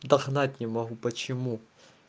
догнать не могу почему